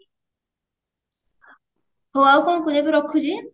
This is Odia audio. ହଉ ଆଉ କଣ କରିବା ଏବେ ରଖୁଛି?